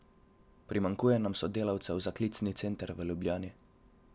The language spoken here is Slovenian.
Primanjkuje pa nam sodelavcev za klicni center v Ljubljani.